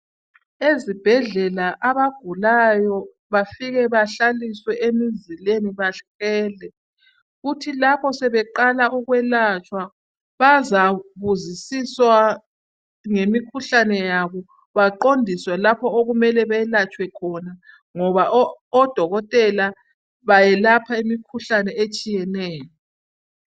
Ezibhadlela abagulayo bafike bahlaliswe emizileni bahlele, kuthi lapho sebeqala ukwelatshwa. bazabuzisiswa ngemikhuhlane yabo. Baqondiswe lapho okumele belatshwe khona. Ngoba odokotela bayelapha imikhuhlane etshiyeneyo.